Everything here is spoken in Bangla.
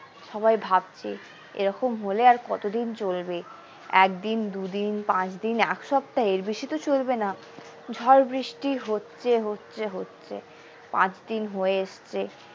সবাই ভাবছে এরকম হলে আর কতদিন চলবে এক দিন দুই দিন পাঁচ দিন এক সপ্তাহ এর বেশি তো চলবে না ঝড় বৃষ্টি হচ্ছে হচ্ছে হচ্ছে পাঁচ দিন হয়ে এসেছে।